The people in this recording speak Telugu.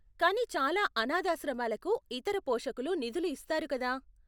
కానీ చాలా అనాధాశ్రమాలకు ఇతర పోషకులు నిధులు ఇస్తారు కదా?